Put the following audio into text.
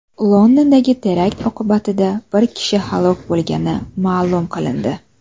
Londondagi terakt oqibatida bir kishi halok bo‘lgani ma’lum qilindi.